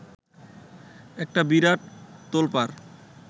একটা বিরাট তোলপাড়